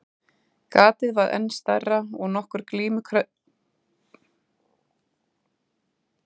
Gatið varð enn stærra og nokkur grímuklædd mannsandlit birtust í rofinu.